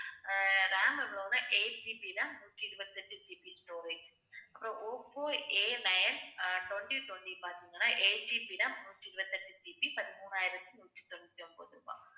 eightGBram நூத்தி இருபத்தி எட்டு GB storage அப்புறம் ஓப்போ Anine அஹ் twenty twenty பார்த்தீங்கன்னா 8GB RAM நூத்தி இருபத்தி எட்டு GB பதிமூணாயிரத்தி நூத்தி தொண்ணூத்தி ஒன்பது ரூபாய்